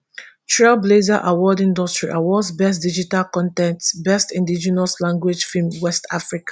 trailblazer award industry awards best digital con ten t best indigenous language film west africa